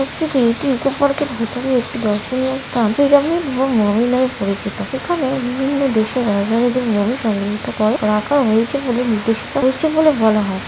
এটি একটি ইকো পার্কের - এর ভিতরে একটি দর্শনীয় স্থান পিরামিড এবং মমি নামে পরিচিত এখানে বিভিন্ন দেশের রাজধানীদের মমি সংগ্রহীত করে রাখা হয়েছে বলে নির্দে- বলে মনে হয় ।